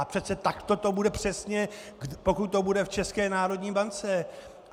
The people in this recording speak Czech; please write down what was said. A přece takto to bude přesně, pokud to bude v České národní bance.